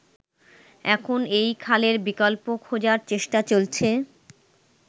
এখন এই খালের বিকল্প খোঁজার চেষ্টা চলছে।